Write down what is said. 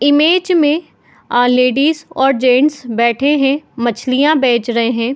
Image में ladies और gents बैठे है मछिलयाँ बेच रहे है।